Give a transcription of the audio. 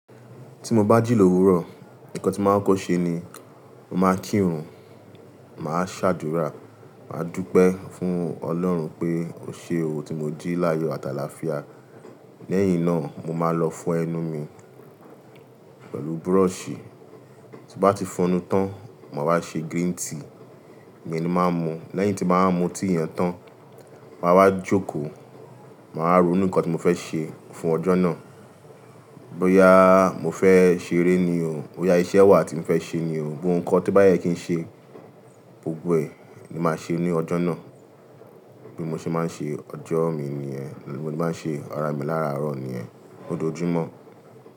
Tí mo bá jí lówurọ̀, nǹkan tí màá ń kọ́ṣẹ́ ni, màá kírun, màá ṣàdúrà, màá dúpẹ́ fún Ọlọ́run pé ó ṣe ò tí mo jí láyo àtàlàáfíà. Lẹ́yìn náà, mo máa lọ fọ ẹnu mi pẹ̀lú búrọ̀ṣì. Tí bá ti fọnu tán, màá wá ṣe green tea, ìyẹn ni màá mu. Lẹ́yìn tí n bà wa mu tea yẹn tán, màá wá jókòó, màá ronú nǹkan tí mo fẹ́ ṣe fún ọjọ́ náà. Bóyá mo fẹ́ ṣeré ni o, bóyá iṣẹ́ wà tí mo fẹ́ ṣe ni o, ohun kan tó bá yẹ kí n ṣe, gbogbo ẹ̀ ni màá ṣe ní ọjọ́ náà. Bí mo ṣe máa ń ṣe ọjọ́ mi nìyẹn, bí mo ṣe máa ń ṣe ara mi lárárọ̀ nìyẹn, ojoòjùmọ́.